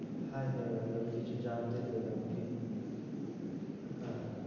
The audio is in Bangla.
Hi hello কিছু জানতে পেলাম, কিন্তু। হ্যাঁ।